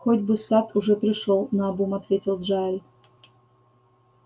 хоть бы сатт уже пришёл наобум ответил джаэль